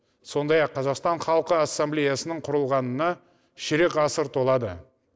сондай ақ қазақстан халқы ассамблеясының құрылғанына ширек ғасыр толады